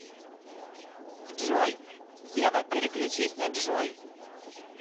джой ева переключись на джой